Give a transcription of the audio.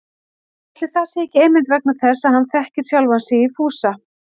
Ætli það sé ekki einmitt vegna þess að hann þekkir sjálfan sig í Fúsa